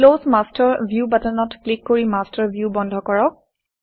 close master view বাটনত click কৰি master view বন্ধ কৰক